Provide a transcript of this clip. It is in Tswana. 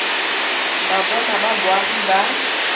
ba bona ba boagi ba